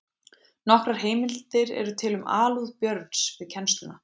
Nokkrar heimildir eru til um alúð Björns við kennsluna.